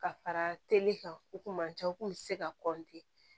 Ka fara teli kan u kun ma ca u kun be se ka kɔntiniye